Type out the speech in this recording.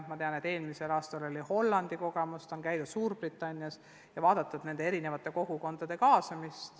Ma tean, et eelmisel aastal tutvuti Hollandi kogemustega, on käidud Suurbritannias ja uuritud nende erinevate kogukondade kaasamist.